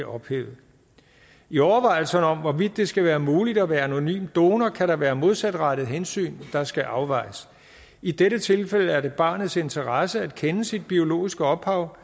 ophæves i overvejelserne om hvorvidt det skal være muligt at være anonym donor kan der være modsatrettede hensyn der skal afvejes i dette tilfælde er det i barnets interesse at kende sit biologiske ophav